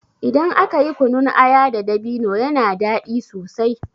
Idan aka yi kunun aya da dabino yana daɗi sosai.